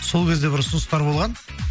сол кезде бір ұсыныстар болған